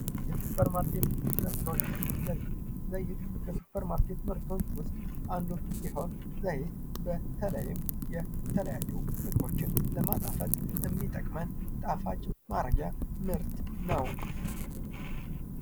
የሱፐር ማርኬት ምርቶች፦ ዘይት፡ - ዘይት፡ ከሱፐር ማርኬት ምርቶች ዉስጥ አንዱ ሲሆን ዘይት በተለይም የተለያዩ ምግቦችን ለማጣፈጥ የሚጠቅመን ምርት ነው።